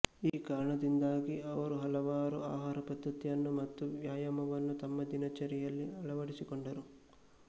ಈ ಕಾರಣದಿಂದಾಗಿ ಅವರು ಹಲವಾರು ಆಹಾರ ಪದ್ಧತಿಯನ್ನು ಮತ್ತು ವ್ಯಾಯಾಮವನ್ನು ತಮ್ಮ ದಿನಚರಿಯಲ್ಲಿ ಅಳವಡಿಸಿಕೊಂಡರು